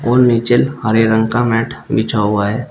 और नीचे हरे रंग का मैट बिछा हुआ है।